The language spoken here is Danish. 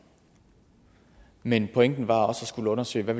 men pointen var også at skulle undersøge hvad